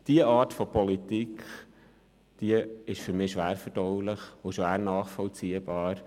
Diese Art von Politik ist für mich schwer verdaulich und schwer nachvollziehbar.